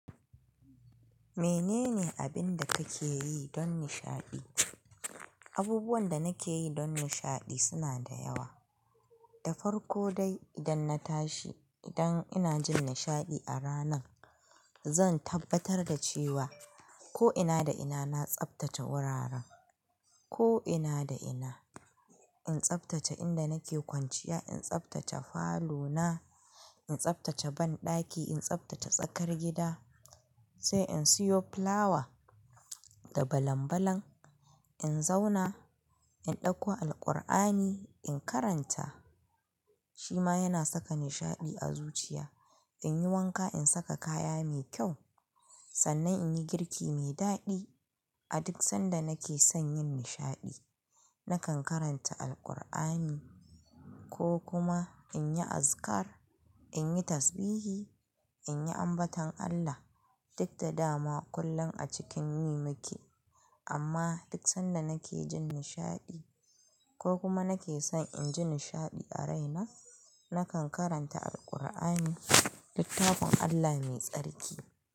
Menene abin da kake yi don nishaɗi? Abubuwan da nake yi don nishaɗi suna da yawa. Da farko dai idan na tashi, idan ina jin nishaɗi a ranan, zan tabbatar da cewa ko ina da ina na tsabtace wuraren, ko ina da ina. In tsabtace inda nake kwanciya, in tsabtace falo na, in tsabtace banɗaki, in tsabtace tsakar gida, sai in siyo fulawa da balambalan, in zauna, in ɗauko Alqur'ani, in karanta. Shi ma yana saka nishaɗi a zuciya. In yi wanka, in saka kaya mai kyau, sannan in yi girki mai daɗi. A duk sanda nake son yin nishaɗi, nakan karanta Alqur'ani ko kuma in yi azikar, in yi tasbihi, in yi ambaton Allah, duk da dama kullum a cikin yin miki. Amma duk sanda nake jin nishaɗi ko kuma nake son in ji nishaɗi a raina, nakan karanta Alqur'ani, littafin Allah mai tsarki.